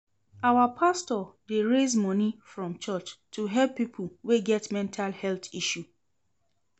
Our pastor dey raise moni from church to help pipo wey get mental health issue.